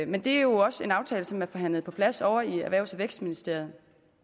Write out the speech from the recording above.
men det er jo også en aftale som er forhandlet på plads ovre i erhvervs og vækstministeriet